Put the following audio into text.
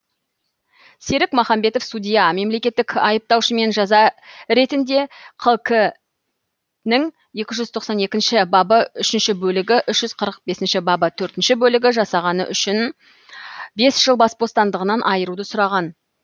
серік махамбетов судья мемлекеттік айыптаушымен жаза ретінде қк нің екі жүз тоқсан екінші бабы үшінші бөлігі үш жүз қырық бесінші бабы төртінші бөлігі жасағаны үшін бес жыл бас бостандығынан айыруды сұраған